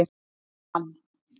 Amman